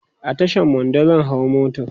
a Tashan Mando zan hau mota